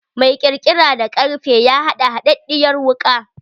Mai kirkira da karfe ya haɗa haɗaɗɗiyar wuka.